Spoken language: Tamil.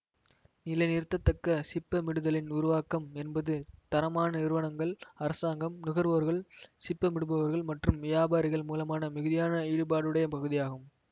நிலைநிறுத்தத்தக்க சிப்பமிடுதலின் உருவாக்கம் என்பது தரமான நிறுவனங்கள் அரசாங்கம் நுகர்வோர்கள் சிப்பமிடுபவர்கள் மற்றும் வியாபாரிகள் மூலமான மிகுதியான ஈடுபாடுடைய பகுதியாகும்